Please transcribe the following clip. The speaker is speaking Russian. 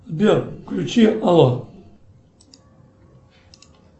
сбер включи ало